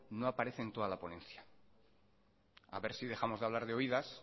no aparece en toda la ponencia a ver si dejamos de hablar de oídas